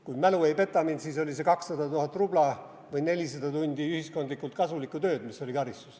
Kui mälu mind ei peta, siis on see karistus 200 000 rubla või 400 tundi ühiskondlikult kasulikku tööd.